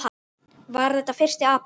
Var þetta fyrsti apríl?